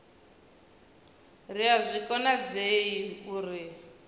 ri a zwi konadzei uri